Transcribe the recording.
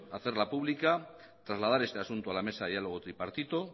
hacerla pública trasladar este asunto a la mesa de diálogo tripartito